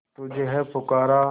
तुझे है पुकारा